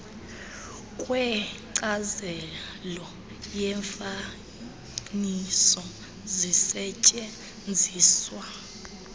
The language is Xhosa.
kwenkcazo yefayile zisetyenziswe